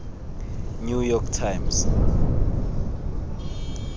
new york times